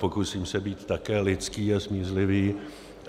Pokusím se být také lidský a smířlivý.